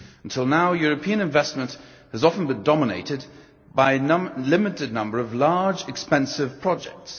Until now, European investment has often been dominated by a limited number of large, expensive projects.